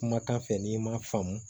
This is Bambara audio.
Kumakan fɛ n'i ma faamu